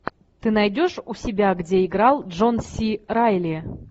ты найдешь у себя где играл джон си райли